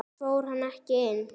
Fór hann ekki inn?